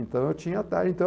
Então, eu tinha até então